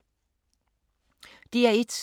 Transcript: DR1